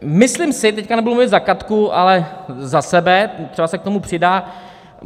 Myslím si - teď nebudu mluvit za Katku, ale za sebe, třeba se k tomu přidá.